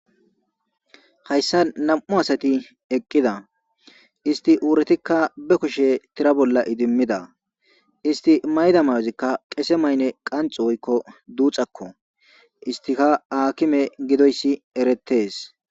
hayssa nam7u asati eqqida isti uuretikka be kushe tira bolla idimmida isti mayda mayozikka qese maynne qanxu woykko duuxakko istika aakime gidoyssi eretees